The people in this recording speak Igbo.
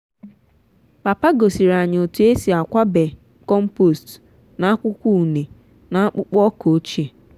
papa gosiri anyị otú esi akwabe compost n’akwụkwọ ụne n’akpụkpọ ọka ochie.